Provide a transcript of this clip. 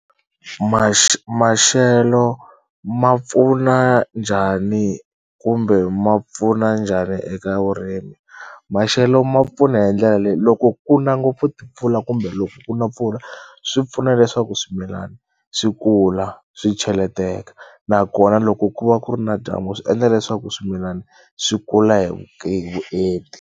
maxelo ma pfuna njhani kumbe ma pfuna njhani eka vurimi? Maxelo ma pfuna hi ndlela leyi loko kuna ngopfu timpfula kumbe loko kuna mpfula swi pfuna leswaku swimilana swi kula swi cheleteka nakona loko ku va ku ri na dyambu swi endla leswaku swimilani swi kula hi hi vuenti.